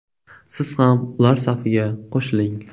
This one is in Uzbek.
Siz ham ular safiga qo‘shiling!